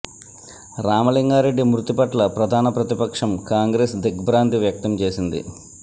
రామలింగారెడ్డి మృతి పట్ల ప్రధాన ప్రతిపక్షం కాంగ్రెస్ దిగ్భ్రాంతి వ్యక్తం చేసింది